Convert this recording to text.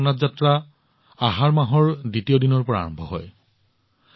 ভগৱান জগন্নাথৰ যাত্ৰা আহাৰ মাহৰ দ্বিতীয় দিনৰ পৰা আৰম্ভ হয়